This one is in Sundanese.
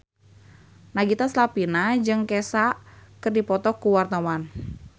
Nagita Slavina jeung Kesha keur dipoto ku wartawan